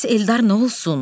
Bəs Eldar nə olsun?